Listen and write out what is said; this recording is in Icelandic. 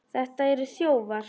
Þetta eru þjófar!